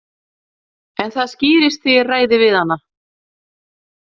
En það skýrist þegar ég ræði við hana.